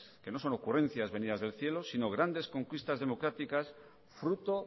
que no son ocurrencias venidas del cielo sino grandes conquistas democráticas fruto